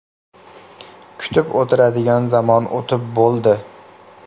Kutib o‘tiradigan zamon o‘tib bo‘ldi.